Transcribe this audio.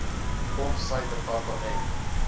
of sy departement